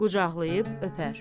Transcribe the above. Qucaqlayıb öpər.